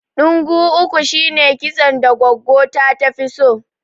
Ɗungu uku shine kitson da goggo ta tafi so